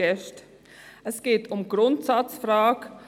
Es geht um die Grundsatzfrage: